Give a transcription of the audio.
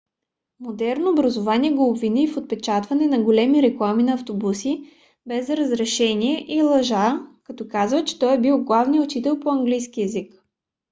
модерното образование го обвини в отпечатване на големи реклами на автобуси без разрешение и лъжа като казва че той бил главният учител по английски език